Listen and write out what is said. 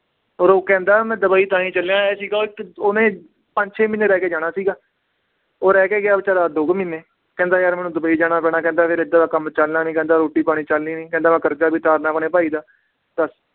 ਔਰ ਉਹ ਕਹਿੰਦਾ ਮੈਂ ਦੁਬਈ ਤਾਂ ਹੀ ਚੱਲਿਆ ਇਹ ਸੀਗਾ ਉਹਨੇ ਪੰਜ ਛੇ ਮਹੀਨੇ ਰਹਿ ਕੇ ਜਾਣਾ ਸੀਗਾ ਉਹ ਰਹਿ ਕੇ ਗਿਆ ਬੇਚਾਰਾ ਦੋ ਕੁ ਮਹੀਨੇ, ਕਹਿੰਦਾ ਯਾਰ ਮੈਨੂੰ ਦੁਬਈ ਜਾਣਾ ਪੈਣਾ ਕਹਿੰਦਾ ਫਿਰ ਏਦਾਂ ਤਾਂ ਕੰਮ ਚੱਲਣਾ ਨੀ, ਕਹਿੰਦਾ ਰੋਟੀ ਪਾਣੀ ਚੱਲਣੀ ਨੀ ਕਹਿੰਦਾ ਮੈਂ ਕਰਜਾ ਵੀ ਉਤਾਰਨਾ ਆਪਣੇ ਭਾਈ ਦਾ ਦੱਸ।